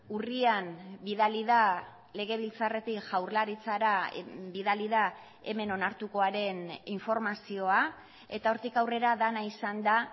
urrian bidali da legebiltzarretik jaurlaritzara bidali da hemen onartukoaren informazioa eta hortik aurrera dena izan da